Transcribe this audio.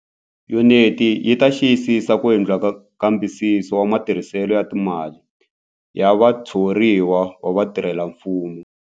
Yuniti yi ta xiyisisa ku endliwa ka nkambisiso wa matirhiselo ya timali ya vathoriwa va vatirhelamfumo.